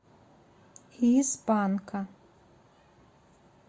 из панка